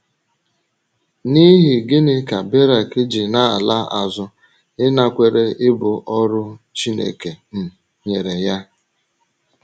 N’ihi gịnị ka Berak ji na - ala azụ ịnakwere ibu ọrụ Chineke um nyere ya?